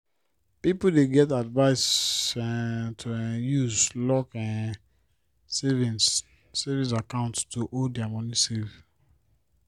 people dey get advice um to um use locked um savings savings account to hold their moni safe